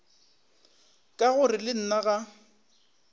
ka gore le nna ga